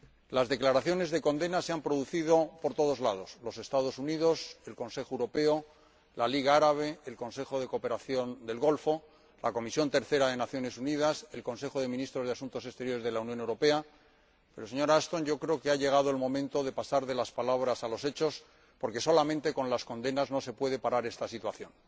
Las declaraciones de condena se han producido por todos los lados —los Estados Unidos, el Consejo Europeo, la Liga Árabe, el Consejo de Cooperación del Golfo, la Tercera Comisión de las Naciones Unidas, el Consejo de Ministros de Asuntos Exteriores de la Unión Europea—, pero, señora Ashton, yo creo que ha llegado el momento de pasar de las palabras a los hechos, porque solamente con las condenas no se puede parar esta situación.